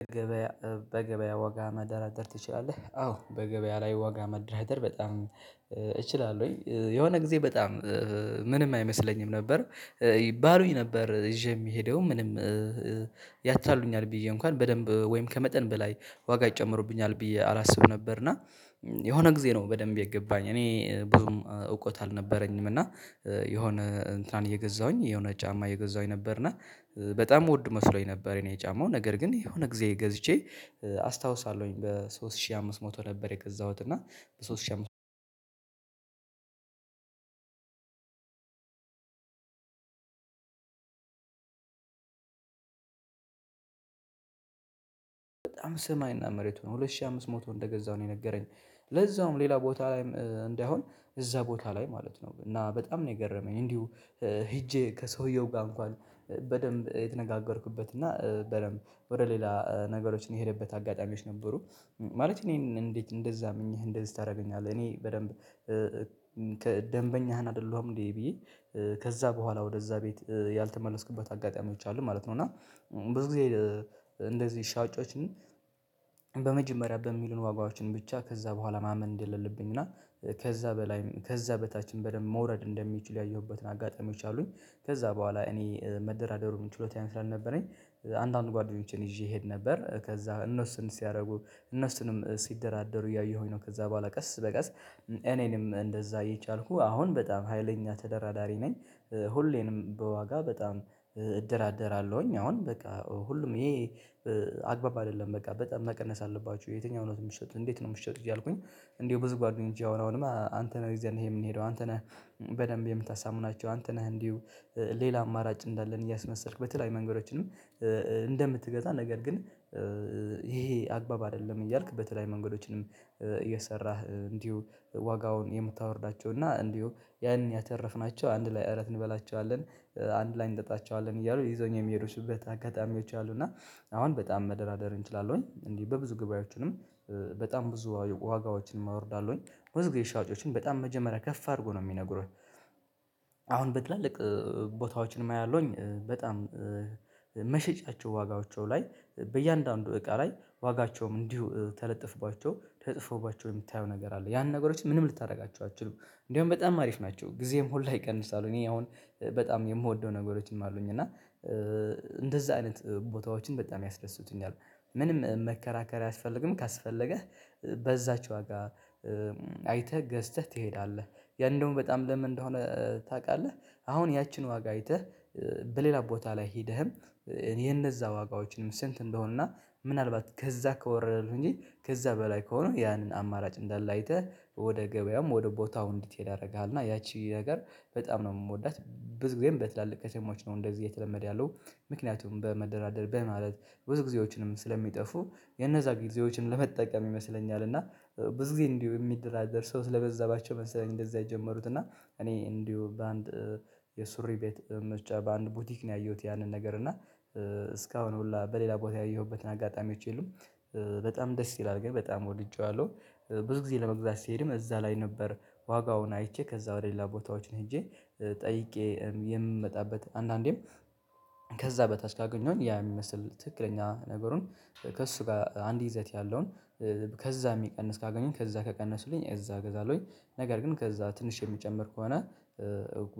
በገበያ በገበያ ዋጋ መደራደር ትችላለህ? አዎ በገበያ ላይ ዋጋ መደራደር በጣም እችላለሁ ወይ የሆነ ጊዜ በጣም ምንም አይመስለኝም ነበር። ባሉኝ ነበር ይዤ የሚሄደው ምንም ያታልሉኛል ብዬ እንኳን በደንብ ወይም ከመጠን በላይ ዋጋ ይጨምሩብኛል ብዬ አላስብ ነበር። እና የሆነ ጊዜ ነው በደንብ የገባኝ እኔ ብዙም እውቀት አልነበረኝም። እና የሆነ እንትናን እየገዛሁኝ የሆነ ጫማ እየገዛሁኝ ነበርና በጣም ወድ መስሎኝ ነበር። የኔ ጫማው ነገር ግን የሆነ ጊዜ ገዝቼ አስታውሳለሁኝ በሶስት ሺህ አምስት መቶ ነበር የገዛሁት። እና በሶስት ሺህ አምስት በጣም ስማይና መሬቱ ሆነ ሁለት ሺህ አምስት ሞቶ እንደገዛሁ ነው የነገረኝ። ለዛውም ሌላ ቦታ ላይም እንዳይሆን እዛ ቦታ ላይ ማለት ነው እና በጣም ነው የገረመኝ። እንዲሁ ሄጄ ከሰውየው ጋር እንኳን በደንብ የተነጋገርኩበት እና በደንብ ወደ ሌላ ነገሮችን የሄደበት አጋጣሚዎች ነበሩ። ማለት እኔን እንዴት እንደዛ አምኜህ እንደዚህ ታደርገኛለህ እኔ በደንብ ደንበኛህን አይደለሁም እንዴ? ብዬ ከዛ በኋላ ወደዛ ቤት ያልተመለስኩበት አጋጣሚዎች አሉ ማለት ነው። እና ብዙ ጊዜ እንደዚህ ሻጫዎችን በመጀመሪያ በሚሉን ዋጋዎችን ብቻ ከዛ በኋላ ማመን እንደሌለብን እና ከዛ በላይ ከዛ በታችም በደንብ መውረድ እንደሚችሉ ያየሁበትን አጋጣሚዎች አሉኝ። ከዛ በኋላ እኔ መደራደሩን ችሎታዬ ስላልነበረኝ አንዳንድ ጓደኞቼን ይዤ እሄድ ነበር ከዛ እነሱን ሲያደርጉ እነሱንም ሲደራደሩ እያየሁኝ ነው ከዛ በኋላ ቀስ በቀስ እኔንም እንደዛ የቻልኩ አሁን በጣም ሀይለኛ ተደራዳሪ ነኝ። ሁሌንም በዋጋ በጣም እደራደራለሁኝ። አሁን በቃ ሁሉም ይሄ አግባብ አይደለም በቃ በጣም መቀነስ አለባችሁ። የትኛውን ነው እምትሸጡት እንዴት ነው እምትሸጡት? እያልኩኝ እንደው ብዙ ጓደኞቼ አሁን አሁንም አንተ ነህ ይዘንህ የምንሄደው አንተ ነህ። በደንብ የምታሳምናቸው አንተ ነህ እንዲሁ ሌላ አማራጭ እንዳለን እያስመሰልክ በተለያዩ መንገዶችንም እንደምትገዛ ነገር ግን ይሄ አግባብ አይደለም። እያልክ በተለይ መንገዶችንም እየሰራህ እንዲሁ ዋጋውን የምታወርዳቸው እና እንዲሁ ያን ያተረፍናቸው አንድ ላይ እራት እንበላቸዋለን አንድ ላይ እንጠጣቸዋለን እያሉ ይዘዉኝ የሚሄዱትበት አጋጣሚዎች አሉ። እና አሁን በጣም መደራደር እንችላለሁኝ እንዲ በብዙ ጉባኤዎችንም በጣም ብዙ ዋጋዎችንም አወርዳለሁኝ። ብዙ ግዜ ሻጮችም በጣም መጀመሪያ ከፍ አድርጎ ነው የሚነግሩህ። አሁን በትላልቅ ቦታዎችን ምን አያለሁኝ በጣም መሸጫቸው ዋጋዎቻው ላይ በእያንዳንዱ እቃ ላይ ዋጋቸውም እንዲሁ ተለጥፍባቸው ተጽፎዎባቸው የምታየው ነገር አለ ያን ነገሮችን ምንም ልታደርጋቸው አትችሉም። እንደውም በጣም አሪፍ ናቸው ጊዜ ሁላ ላይ ይቀንሳሉ። እኔ አሁን በጣም የምወደው ነገሮችም አሉኝ እና እንደዛ አይነት ቦታዎችን በጣም ያስደስቱኛል። ምንም መከራከር አያስፈልግም ካስፈለገህ በዛች ዋጋ አይተህ ገዝተህ ትሄዳለህ። ያ እንደውም በጣም ለምን እንደሆነ ታውቃለህ? አሁን ያችን ዋጋ አይተህ በሌላ ቦታ ላይ ሄደህም እኔ የእነዛ ዋጋዎችንም ስንት እንደሆንና ምናልባት ከዛ ከወረደልህ ከዛ በላይ ከሆነ ያንን አማራጭ እንዳለ አይተህ ወደ ገበያውም ወደ ቦታው እንድትሄድ ያደርግሃል። እና ያቺ ነገር በጣም ነው እምወዳት ብዙ ጊዜም በትላልቅ ከተሞች እንደዚህ እየተለመደ ያለው። ምክንያቱም በመደራደር በማለት ብዙ ጊዜዎችንም ስለሚጠፉ የነዛ ጊዜዎችን ለመጠቀም ይመስለኛል። እና ብዙ ጊዜ እንዲሁ እሚደራደር ሰው ስለበዛባቸው መሰለኝ። እንደዛ የጀመሩት እና እኔ እንዲሁ በአንድ የሱሪ ቤት መሸጫ በአንድ ቡቲክ ነው ያየሁት። ያንን ነገር እና እስካሁን ሁላ በሌላ ቦታ ያየሁበትን አጋጣሚዎች የሉም። በጣም ደስ ይላል ግን በጣም ወድጄዋለሁ። ብዙ ጊዜ ለመግዛት ስሄድም እዛ ላይ ነበር። ዋጋውን አይቼ ከዛ ወደ ሌላ ቦታዎች ሄጄ ጠይቄ የምመጣበት አንዳንዴም ከዛ በታች ካገኘሁኝ ያ እሚመስል ትክክለኛ ነገሩን ከእሱ ጋር አንድ ይዘት ያለውን ከዛ እሚቀንስ ካገኘው ከዛ ከቀነሱልኝ እዛ ገዛለሁኝ። ነገር ግን ከዛ ትንሽ የሚጨምር ከሆነ።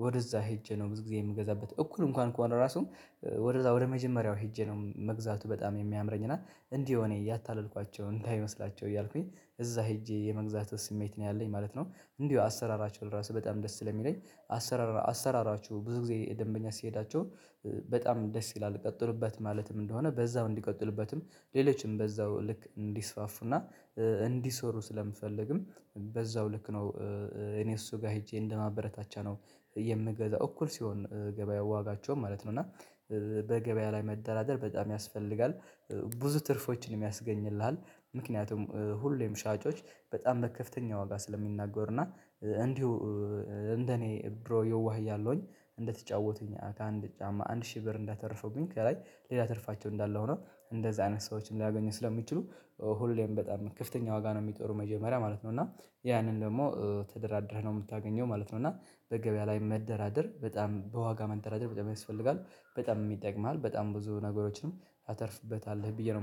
ወደዛ ሄጄ ነው ብዙ ጊዜ የምገዛበት እኩል እንኳን ከሆነ ራሱ ወደዛ ወደ መጀመሪያው ሄጄ ነው መግዛቱ በጣም የሚያምረኝ እና እንዲህ እኔ እያታለልኳቸው እንዳይመስላቸው እያልኩኝ እዛ ሄጄ የመግዛት ስሜት ነው ያለኝ ማለት ነው። እንዲሁ አሰራራቸው ራሱ በጣም ደስ ስለሚለኝ አሰራራ አሰራራችሁ ብዙ ጊዜ ደንበኛ ሲሄዳቸው። በጣም ደስ ይላል ቀጥሉበት ማለትም እንደሆነ በዛው እንዲቀጥሉበትም። ሌሎችም በዛው ልክ እንዲስፋፉና እንዲሰሩ ስለምፈልግም በዛው ልክ ነው። እኔ እሱ ጋር ሄጄ እንደማበረታቻ ነው። የምገዛው እኩል ሲሆን ገበያ ዋጋቸውም ማለት ነው። እና በገበያ ላይ መደራደር በጣም ያስፈልጋል። ብዙ ትርፎችን ያስገኝልሃል። ምክንያቱም ሁሌም ሻጮች በጣም በከፍተኛ ዋጋ ስለሚናገሩ እና እንዲሁ እንደኔ ድሮ ይዋህ እያለሁኝ እንደተጫወቱኝ ከአንድ ጫማ አንድ ሺህ ብር እንዳተረፉብኝ ከላይ ሌላ ተርፋቸው እንዳለ ሆኖ እንደዚህ አይነት ሰዎችን ሊያገኙ ስለሚችሉ። ሁሌም በጣም ክፍተኛ ዋጋ ነው እሚጠሩ መጀመሪያ ማለት ነው። እና ያንን ደግሞ ተደራድረህ ነው እምታገኘው ማለት ነው። እና በገበያ ላይ መደራደር በጣም በዋጋ መደራደር በጣም ያስፈልጋል። በጣም ይጠቅምሃል በጣም ብዙ ነገሮችንም ታተርፍበታለህ ብዬ ነው